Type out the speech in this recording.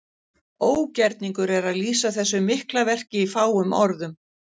Ógerningur er að lýsa þessu mikla verki í fáum orðum.